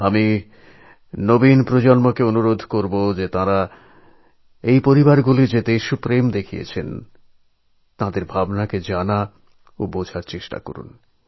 আমি যুব সম্প্রদায়কে এই অনুরোধ করবো যে এইসব পরিবার উৎসাহের সঙ্গে যে দৃঢ় সঙ্কল্প দেখিয়েছে তাঁদের যে সব ভাবনা প্রকাশ করেছেন সেই সমস্ত জানার এবং বোঝার চেষ্টা করুন